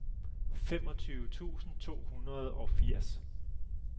femogtyve tusind to hundrede og firs